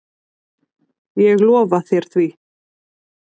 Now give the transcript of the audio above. Ég lofa þér því.